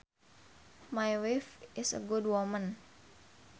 My wife is a good woman